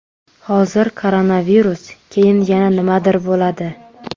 Hozir koronavirus, keyin yana nimadir bo‘ladi.